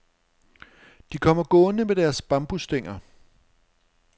De kom gående med deres bambusstænger.